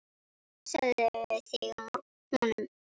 Passaðu þig á honum.